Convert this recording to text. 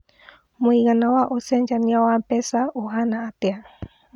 mũigana wa ũcenjanĩa wa mbeca ũhana atĩa